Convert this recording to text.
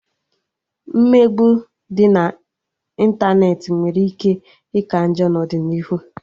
Mmegbu dị na ịntanetị nwere ike ika njọ n'ọdịnihu